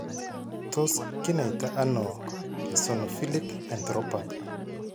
Tos kinaita ano eosinophilic enteropathy?